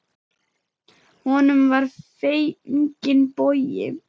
Honum var fenginn bogi.